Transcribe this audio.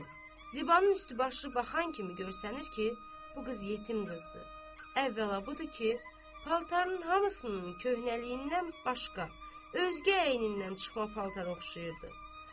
Zibanın üstü başı baxan kimi göstərir ki, bu qız yetim qızdır, əvvəla budur ki, paltarının hamısının köhnəliyindən başqa özgə əynindən çıxma paltara oxşayırdı.